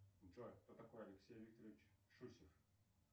джой кто такой алексей викторович шусев